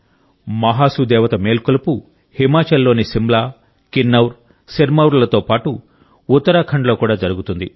మహాసు దేవత మేల్కొలుపు హిమాచల్లోని సిమ్లా కిన్నౌర్ సిర్మౌర్లతో పాటు ఉత్తరాఖండ్లో కూడా జరుగుతుంది